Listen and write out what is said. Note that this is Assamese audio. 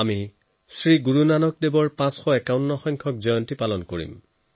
মই শ্ৰী গুৰু নানক দেৱজীৰ ৫৫১সংখ্যক আৱিৰ্ভাৱ তিথি উদযাপন কৰিম